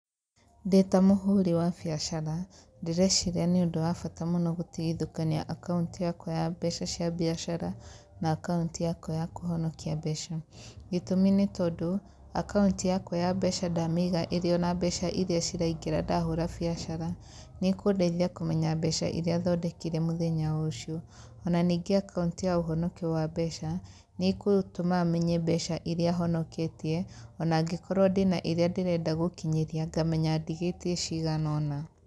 Ndĩta mũhũri wa mbiacara ndireciria nĩ ũndũ wa bata gũtigithũkania akauti yakwa ya mbeca ciakwa cia mbiacara na akaunti yakwa ya kũhonokia mbeca, gĩtũmi nĩ tondũ, akaunti yakwa ya mbeca ndamĩiga ĩrĩ-ona mbeca iria ciraingĩra ndahũha biacara, nĩ ĩkũndeithia kũmenya mbeca iria thondekire mũthenya ũcio, ona ningĩ akaunti ya ũhonokio wa mbeca nĩkũma menye mbeca iria honoketie ona angĩkorwo ndĩna iria ndĩrenda gũkinyĩria ngamenyaga ndigĩtie cigana ona.